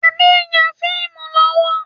Adé n ya fíìmù lọ́wọ́.